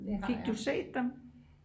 fik du set dem?